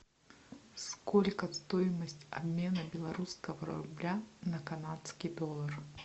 сколько стоимость обмена белорусского рубля на канадский доллар